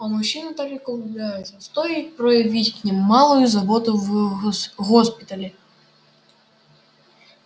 а мужчины так легко влюбляются стоит проявить о них маленькую заботу в госпитале